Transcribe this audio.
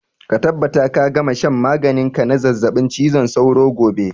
Ka tabbata ka gama shan maganin ka na zazzaɓin cizon sauro gobe!